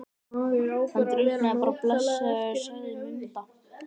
Hann drukknaði bara blessaður, sagði Munda.